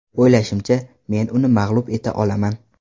O‘ylashimcha, men uni mag‘lub eta olaman.